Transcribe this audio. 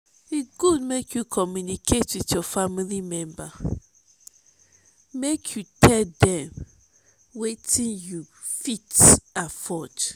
e good make you communicate with your family member make yiu tell dem wetin you fit afford.